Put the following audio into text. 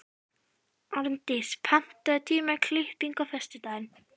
Árndís, pantaðu tíma í klippingu á föstudaginn.